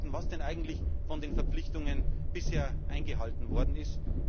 was denn eigentlich von den Verpflichtungen bisher eingehalten worden ist.